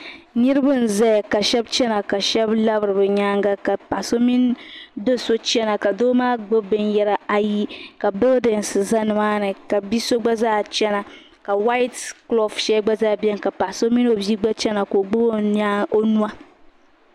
niriba za ya ka sheba chɛna ka shɛbimilabiri be nyɛŋa ka so mini dos chɛna ka do maa gbɛbi binyari ayi ka yiya za ni maa nima ka bi so gba zaa chɛna ka tmpiɛlli gba zaa bɛni ka paɣ' so gba o bi maa nua